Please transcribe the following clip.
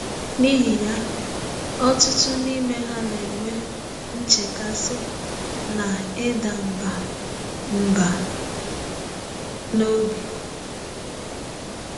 N’ihi ya, ọtụtụ n’ime ha na-enwe nchekasị na ịda mbà mbà n’obi.